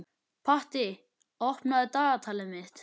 Patti, opnaðu dagatalið mitt.